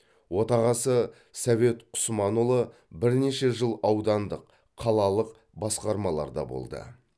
отағасы совет құсманұлы бірнеше жыл аудандық қалалық басқармаларда болды